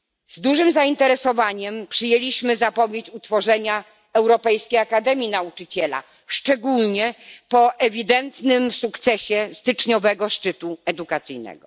Z dużym zainteresowaniem przyjęliśmy zapowiedź utworzenia Europejskiej Akademii Nauczyciela, szczególnie po ewidentnym sukcesie styczniowego szczytu edukacyjnego.